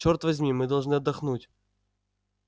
черт возьми мы должны отдохнуть